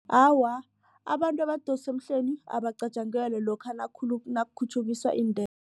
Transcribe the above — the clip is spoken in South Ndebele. Awa, abantu abadosa emhlweni abacatjangelwa lokha nakukhutjhukiswa